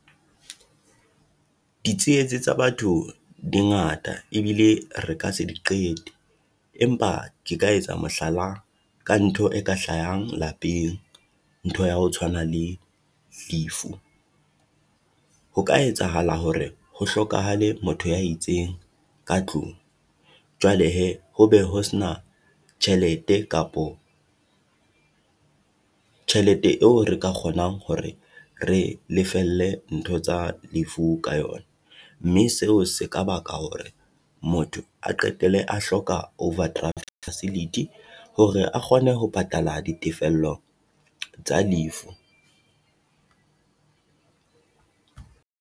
Ditsietsi tsa batho di ngata ebile re ka se di qete, empa ke ka etsa mohlala ka ntho e ka hlahang lapeng. Ntho ya ho tshwana le lefu, ho ka etsahala hore ho hlokahale motho ya itseng ka tlung, jwale hee ho be ho sena tjhelete kapo tjhelete eo re ka kgonang hore re lefelle ntho tsa lefu ka yona. Mme seo se ka baka hore motho a qetelle a hloka overdraft facility hore a kgone ho patala ditefello tsa lefu.